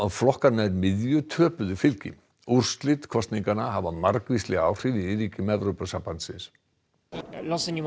flokkar nær miðju töpuðu fylgi úrslit kosninganna hafa margvísleg áhrif í ríkjum Evrópusambandsins